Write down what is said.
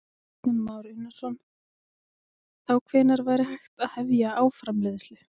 Kristján Már Unnarsson: Þá hvenær væri hægt að hefja álframleiðslu?